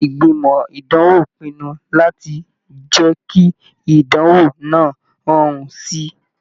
Ìgbìmọ̀ ìdánwò pinnu láti jẹ kí ìdánwò náà rọrùn síi.